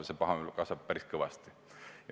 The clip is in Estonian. Ja see pahameel kasvab päris kõvasti.